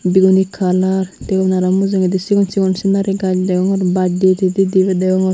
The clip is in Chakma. biguni kalar teyun aro mujungodi segon segon senari gach deyongor baj dehite din debe deyongor.